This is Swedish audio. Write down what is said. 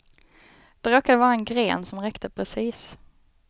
Det råkade vara en gren som räckte precis.